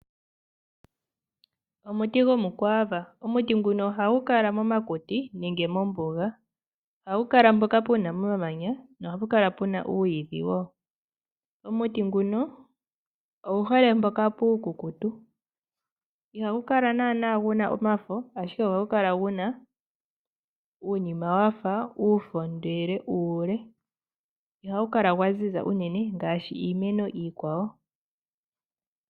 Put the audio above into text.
Omuti gomukwaava. Omuti nguka ohagu kala momakuti nenge mombuga. Ohagu kala mpoka pu na omamanya nohapu kala pu na uuyidhi wo. Omuti nguno ogu hole mpoka puukukutu. Ihagu kala naanaa gu na omafo, ashike ohagu kala gu na uunima wa fa uufo, ndele uule. Ihagu kala gwa ziza unene ngaashi iimeno iikwawo.